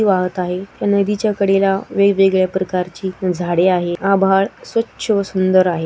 वाहत आहे या नदीच्या कडेला वेग-वेगळ्या प्रकारची झाडे आहे आभाळ स्वच्छ व सुंदर आहे.